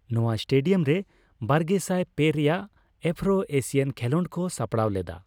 ᱱᱚᱣᱟ ᱥᱴᱮᱹᱰᱤᱭᱟᱢ ᱨᱮ ᱵᱟᱨᱜᱮᱥᱟᱭ ᱯᱮ ᱨᱮᱭᱟᱜ ᱟᱯᱯᱷᱨᱳᱼᱮᱥᱤᱭᱟᱱ ᱠᱷᱮᱹᱞᱳᱰ ᱠᱚ ᱥᱟᱯᱲᱟᱣ ᱞᱮᱫᱟ ᱾